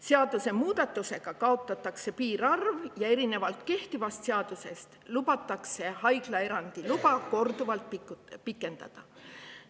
Seadusemuudatusega kaotatakse piirarv ja erinevalt kehtivast seadusest lubatakse haiglaerandi luba korduvalt pikendada.